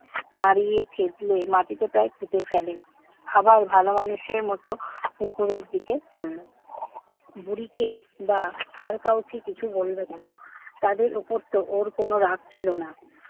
মাড়িয়ে চেপিয়ে মাটিতে প্রায় পুঁতে ফেলে। আবার ভালো মানুষের মতো পুকুরের দিকে চলল। বুড়িকে বা আর কাউকে কিছু বলবে কেন? তাদের উপরতো ওর কোন রাগ ছিল না।